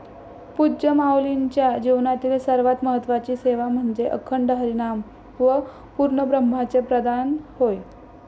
पूज्य माऊलींच्या जीवनातील सर्वात महत्त्वाची सेवा म्हणजे अखंड हरिनाम व पूर्णब्रह्मचे प्रदान होय.